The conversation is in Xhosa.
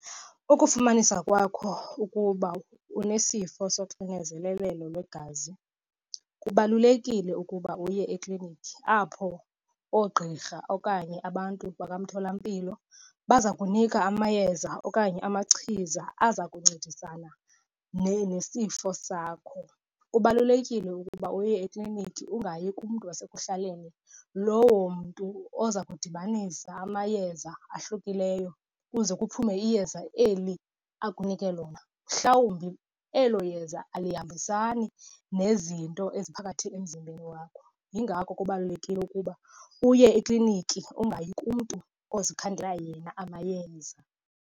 Ukufumanisa kwakho ukuba unesifo soxinizelelo lwegazi, kubalulekile ukuba uye eklinikhi apho oogqirha okanye abantu makamtholampilo baza kunika amayeza okanye amachiza aza kuncedisana nesifo sakho. Kubalulekile ukuba uye ekliniki, ungayi kumntu wasekuhlaleni. Lowo mntu oza kudibanisa amayeza ahlukileyo kuze kuphume iyeza eli akunike lona, mhlawumbi elo yeza alihambisani nezinto eziphakathi emzimbeni wakho. Yingako kubalulekile ukuba uye ekliniki ungayi kumntu ozikhandela yena amayeza.